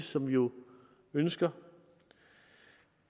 som vi jo ønsker